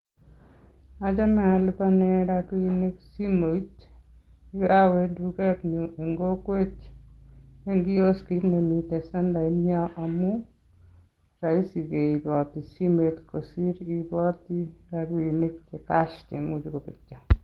Achome alipanen rabinik simoit, yon kowe tuget nemiten kokwet, mi kioskiit nemiten sentainyon, amun roisi keiboot simet kosiir keiboot rabinik chepo eut